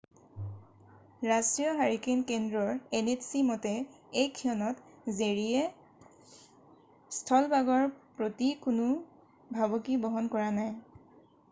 ৰাষ্ট্ৰীয় হাৰিকেন কেন্দ্ৰৰ nhc মতে এই ক্ষণত জেৰীয়ে স্থলভাগৰ প্ৰতি কোনো ভাবুকি বহন কৰা নাই।